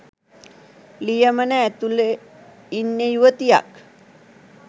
ලියමන ඇතුළෙ ඉන්නෙ යුවතියක්